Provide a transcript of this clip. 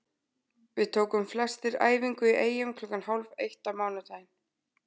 Við tókum flestir æfingu í Eyjum klukkan hálf eitt á mánudaginn.